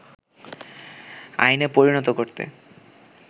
আইনে পরিণত করতে